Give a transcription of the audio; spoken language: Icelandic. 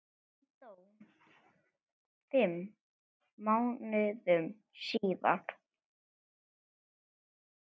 Hann dó fimm mánuðum síðar.